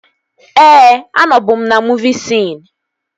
Ee, anọbu m na muuvi siin